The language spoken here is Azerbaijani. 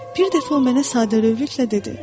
Bir dəfə o mənə sadəlövhlüklə dedi: